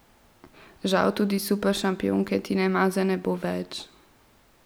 Žal tudi superšampionke Tine Maze ne bo več.